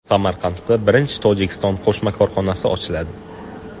Samarqandda birinchi Tojikiston qo‘shma korxonasi ochiladi.